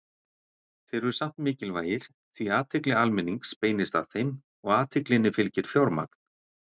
Þeir eru samt mikilvægir því athygli almennings beinist að þeim og athyglinni fylgir fjármagn.